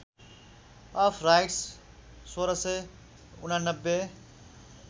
of rights १६८९